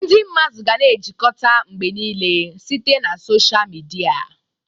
Ndị mmadụ ga-na ejikọta mgbe niile site na sọsha mịdia.